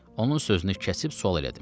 Onun sözünü kəsib sual elədim.